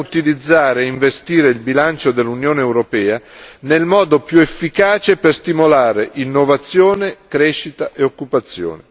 Vogliamo utilizzare e investire il bilancio dell'Unione europea nel modo più efficace per stimolare innovazione, crescita e occupazione.